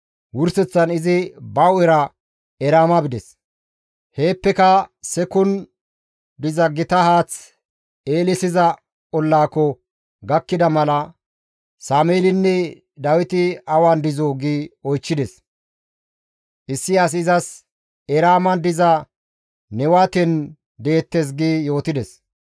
Wurseththan izi ba hu7era Eraama bides; heeppeka Sekkun diza gita haath eelissiza ollaako gakkida mala, «Sameelinne Dawiti awan dizoo?» gi oychchides. Issi asi izas, «Eraaman diza Newaten deettes» gi yootides.